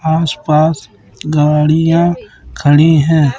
आस पास गाड़ियां खड़ी है।